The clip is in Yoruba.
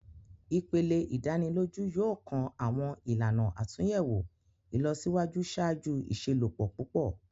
Ipele idaniloju yoo kan awọn ilana atunyẹwo ilọsiwaju ṣaaju iṣelọpọ pupọ.